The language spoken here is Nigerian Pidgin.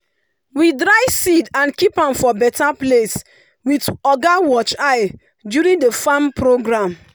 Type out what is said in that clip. we dry seed and keep am for better place with oga watch eye during the farm program.